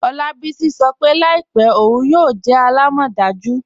Olabisi sọ́ pe laípẹ̀ ọun yóò jẹ́ àlàmọ́dàjú.